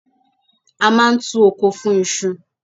A máa ń tu oko fún iṣu.